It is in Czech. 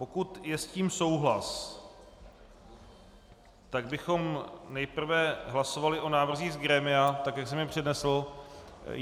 Pokud je s tím souhlas, tak bychom nejprve hlasovali o návrzích z grémia tak, jak jsem je přednesl.